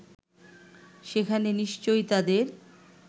সেখানে নিশ্চয়ই তাদের